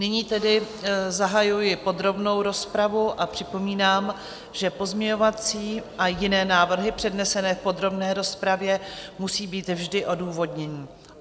Nyní tedy zahajuji podrobnou rozpravu a připomínám, že pozměňovací a jiné návrhy přednesené v podrobné rozpravě musí být vždy odůvodněny.